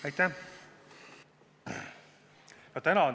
Aitäh!